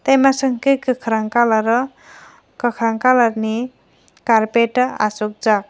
tai masa unke kakrang kalar o kakrang kalar ni carpet o achuk jak.